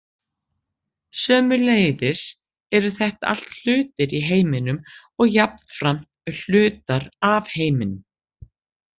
Sömuleiðis eru þetta allt hlutir í heiminum og jafnframt hlutar af heiminum.